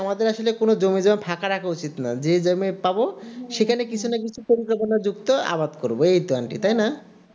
আমাদের আসলে জমি জায়গা ফাঁকা রাখা উচিৎ নয় যে জমি পাব সেখানে কিছু না কিছু আমি পাব সেখানে কিছু না কিছু আবাদ করব এই তো aunty তাই না